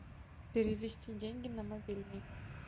перевести деньги на мобильный